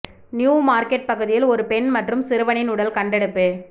new Market பகுதியில் ஒரு பெண் மற்றும் சிறுவனின் உடல் கண்டெடுப்பு